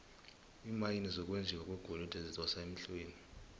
iimayini zokwenjiwa kwegolide zidosa emhlweni